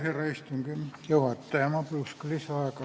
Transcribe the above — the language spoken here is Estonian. Härra istungi juhataja, ma paluks ka lisaaega kohe!